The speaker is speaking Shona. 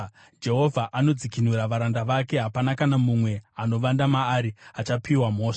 Jehovha anodzikinura varanda vake; hapana kana mumwe anovanda maari achapiwa mhosva.